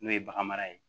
N'o ye bagan mara ye